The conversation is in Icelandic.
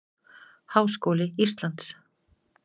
Háskóli Íslands.